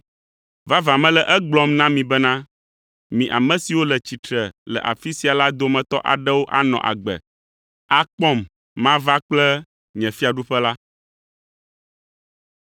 “Vavã mele egblɔm na mi bena, mi ame siwo le tsitre le afi sia la dometɔ aɖewo anɔ agbe, akpɔm mava kple nye mawufiaɖuƒe la.”